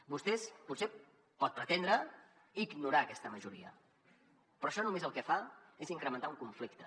vostè potser pot pretendre ignorar aquesta majoria però això el que fa és només incrementar un conflicte